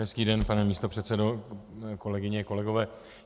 Hezký den, pane místopředsedo, kolegyně, kolegové.